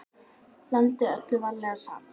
Blandið öllu varlega saman.